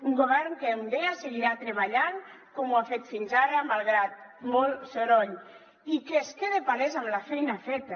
un govern que com deia seguirà treballant com ho ha fet fins ara malgrat molt soroll i que queda palès amb la feina feta